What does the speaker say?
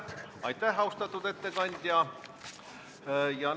Aitäh, austatud ettekandja!